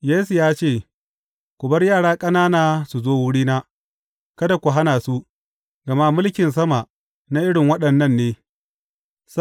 Yesu ya ce, Ku bar yara ƙanana su zo wurina, kada ku hana su, gama mulkin sama na irin waɗannan ne.